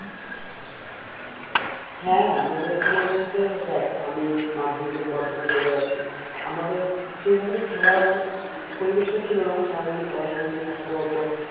হ্যাঁ আমাদের এখানে বলতে দেখ আমি মাধ্যমিকের পর যখন চলে আসি আমাদের সেই ভাবে খেলার পরিবেশ টা ছিল না সারা দিন পড়াশুনো নিয়ে থাকতে হতো